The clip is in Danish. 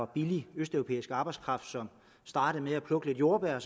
billig østeuropæisk arbejdskraft som startede med at plukke lidt jordbær og